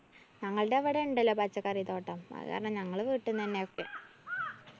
ഞങ്ങള്‍ടെ ഇവടെ ഇണ്ടല്ലോ പച്ചക്കറി തോട്ടം. അത് കാരണം ഞങ്ങള് വീട്ടിന്ന് തന്നെയാ ഒക്കെ.